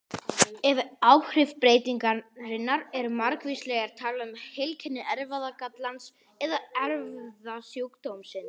Ef áhrif breytingarinnar eru margvísleg er talað um heilkenni erfðagallans eða erfðasjúkdómsins.